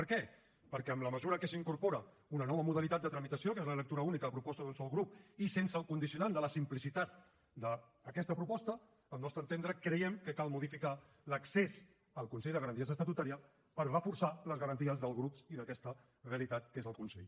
per què perquè en la mesura que s’incorpora una nova modalitat de tramitació que és la lectura única a proposta d’un sol grup i sense el condicionant de la simplicitat d’aquesta proposta al nostre entendre creiem que cal modificar l’accés al consell de garanties estatutàries per reforçar les garanties dels grups i d’aquesta realitat que és el consell